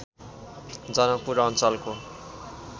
जनकपुर अञ्चलको